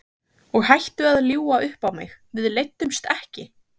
Og hættu að ljúga upp á mig, við leiddumst ekki!